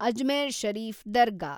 Ajmer Sharif ದರ್ಗಾ